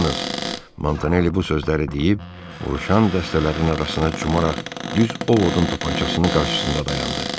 Montanelli bu sözləri deyib, vuruşan dəstələrin arasına cumaraq düz Ovodun tapançasının qarşısında dayandı.